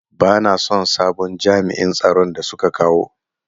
Bana son sabon jami'in tsaron da suka kawo.